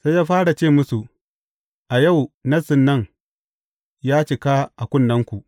Sai ya fara ce musu, A yau, Nassin nan, ya cika a kunnenku.